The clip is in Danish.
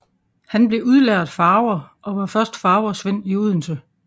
Han blev udlært farver og var først farversvend i Odense